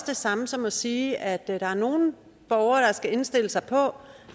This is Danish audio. det samme som at sige at der er nogle borgere der skal indstille sig på